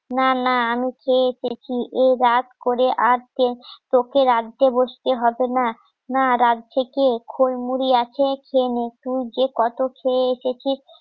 না না আমি খেয়ে দেখি এই রাত করে আটকে তোকে রাঁধতে বসতে হবে না না রাত জেগে খই মুড়ি আছে খেয়ে নে তুই যে কত খেয়ে এসেছিস